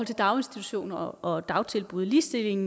daginstitutioner og dagtilbud ligestilling